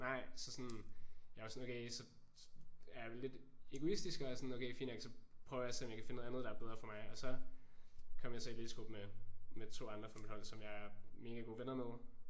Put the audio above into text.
Nej så sådan jeg var sådan okay så er jeg lidt egoistisk og sådan prøver at finde noget der er bedre for mig og så kom jeg så i læsegruppe med med 2 andre fra mit hold som jeg er mega gode venner med